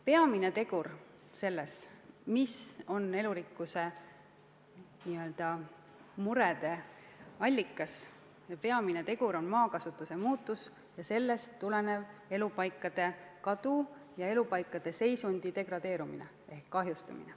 Peamine tegur, peamine elurikkuse n-ö murede allikas on maakasutuse muutus ja sellest tulenev elupaikade kadu ja elupaikade seisundi kahjustumine.